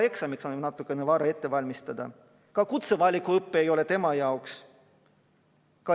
Eksamiks on samuti natukene vara valmistuda, ka kutsevalikuõpe ei ole tema jaoks.